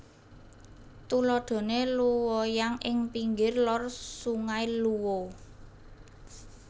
Tuladhane Luoyang ing pinggir Lor Sungai Luo